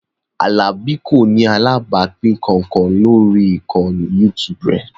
Alani kò ní alábàápín kankan lórí ìkànnì YouTube rẹ̀